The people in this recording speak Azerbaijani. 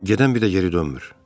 Gedən bir də geri dönmür.